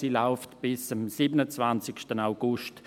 Sie läuft bis am 27. August.